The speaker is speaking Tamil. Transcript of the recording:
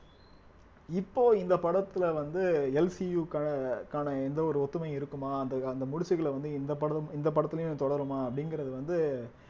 இப்போ இந்த படத்துல வந்து எல் சி யுக்கான ~க்கான எந்த ஒரு ஒத்துமை இருக்குமா அந்த அந்த முடிச்சுகளை வந்து இந்த படம் இந்த படத்திலேயும் தொடருமா அப்படிங்கிறது வந்து